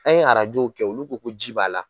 An ye arajow kɛ olu ko ko ji b'a la.